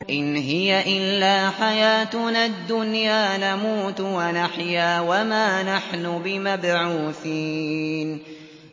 إِنْ هِيَ إِلَّا حَيَاتُنَا الدُّنْيَا نَمُوتُ وَنَحْيَا وَمَا نَحْنُ بِمَبْعُوثِينَ